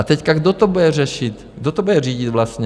A teď, kdo to bude řešit, kdo to bude řídit vlastně?